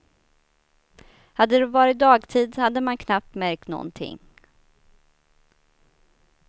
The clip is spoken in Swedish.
Hade det varit dagtid hade man knappt märkt någonting.